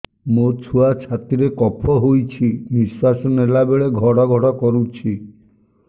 ମୋ ଛୁଆ ଛାତି ରେ କଫ ହୋଇଛି ନିଶ୍ୱାସ ନେଲା ବେଳେ ଘଡ ଘଡ କରୁଛି